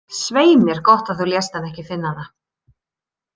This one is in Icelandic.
Svei mér gott að þú lést hann ekki finna það.